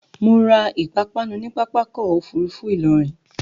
Mo ra ìpápánu ni Pápákọ̀ Òfurufú Ìlọrin